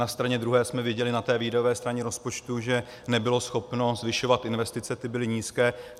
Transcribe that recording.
Na straně druhé jsme viděli, na té výdajové straně rozpočtu, že nebylo schopno zvyšovat investice, ty byly nízké.